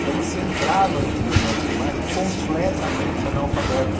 Então você entrava no primeiro ano primário completamente analfabeto.